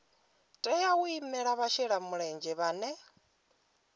tea u imela vhashelamulenzhe vhane